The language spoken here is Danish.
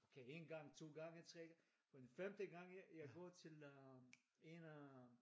Okay én gang 2 gange 3 den femte gang jeg går til øh en af øh